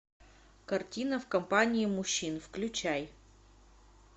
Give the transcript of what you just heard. картина в компании мужчин включай